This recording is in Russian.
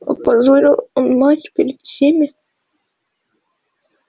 опозорил он мать перед всеми